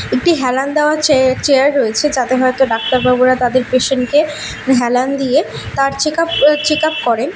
একটি হেলান দেওয়া চে চেয়ার রয়েছে যাতে হয়তো ডাক্তার বাবুরা তাদের পেসেন্ট -কে হেলান দিয়ে তার চেকআপ আ চেকআপ করেন।